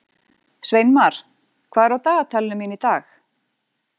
Sveinmar, hvað er á dagatalinu mínu í dag?